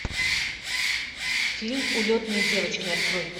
фильм улетные девочки открой